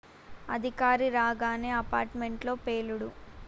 అధికారి రాగానే apartment లో పేలుడు